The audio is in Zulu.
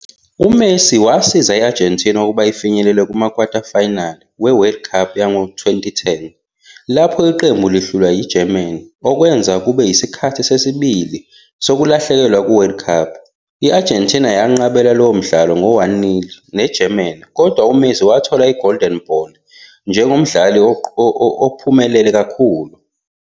UMessi wasiza i-Argentina ukuba ifinyelele kuma-quarterfinals we-World Cup yango-2010, lapho iqembu lihlulwa yi-Germany, okwenza kube yisikhathi sesibili sokulahlekelwa kuWorld Cup. I-Argentina yenqabela lowo mdlalo ngo-1-0 ne-Germany, kodwa uMessi wathola i-Golden Ball njengomdlali ophumelela kakhulu.